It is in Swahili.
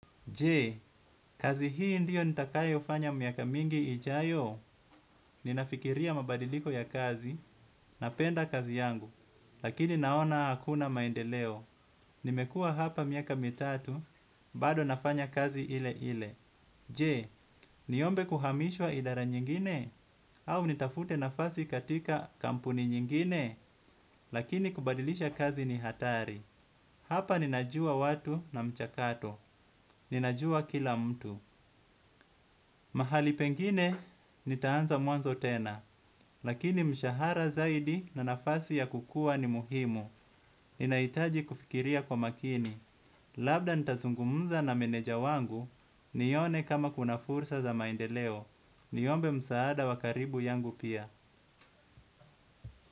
Je kazi hii ndio nitakayofanya miaka mingi ijayo ninafikiria mabadiliko ya kazi napenda kazi yangu lakini naona hakuna maendeleo nimekuwa hapa miaka mitatu bado nafanya kazi ile ile. Je, niombe kuhamishwa idara nyingine, au nitafute nafasi katika kampuni nyingine, lakini kubadilisha kazi ni hatari. Hapa ninajua watu na mchakato. Ninajua kila mtu. Mahali pengine nitaanza mwanzo tena. Lakini mshahara zaidi na nafasi ya kukua ni muhimu. Ninahitaji kufikiria kwa makini. Labda nitazungumza na meneja wangu, nione kama kuna fursa za maendeleo. Niombe msaada wa karibu yangu pia.